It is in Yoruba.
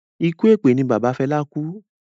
Ikú èpè ni bàbá Fela kú